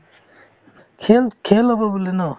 খেল খেল হ'ব বোলে ন